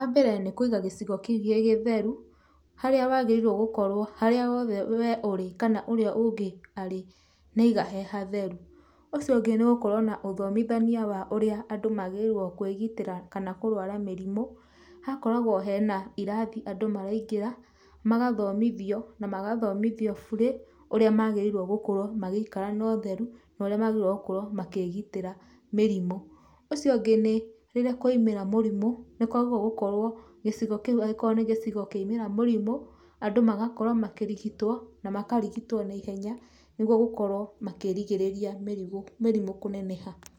Wambere nĩ kũiga gĩcigo kĩu gĩ gĩtheru, harĩa wagĩrĩirwo gũkorwo harĩa hothe we ũrĩ kana ũrĩa ũngĩ arĩ nĩ aiga he hatheru. Ũcio ũngĩ nĩ gũkorwo na ũthomithania wa ũrĩa andũ magĩrĩirwo kwĩgitĩra kana kũrwara mĩrimũ, hagakoragwo hena irathi andũ maraingĩra, magathomithio, na magathomithio burĩ ũrĩa magĩrĩirwo gũkorwo magĩikara notheru na ũrĩa magĩrĩirwo gũkorwo makĩgĩtĩra mĩrimũ. Ũcio ũngĩ nĩ rĩrĩa kwaimĩra mũrimũ, nĩkwagĩrĩirwo gũkorwo gĩcigo kĩu angĩkorwo nĩ gĩcigo kĩaimĩra mũrimũ, andũ magakorwo makĩrigitwo, na makarigitwo na ihenya, nĩguo gũkorwo makĩrigĩrĩria mĩrimũ, mĩrimũ kũneneha.